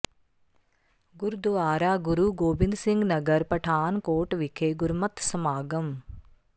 ਗੁਰਦੁਆਰਾ ਗੁਰੂ ਗੋਬਿੰਦ ਸਿੰਘ ਨਗਰ ਪਠਾਨਕੋਟ ਵਿਖੇ ਗੁਰਮਤਿ ਸਮਾਗਮ